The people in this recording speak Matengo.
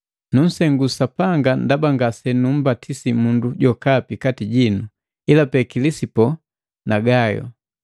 Nusengu Sapanga ndaba ngasenumbatisi mundu jokapi kati jinu ilapee Kilisipo na Gayo.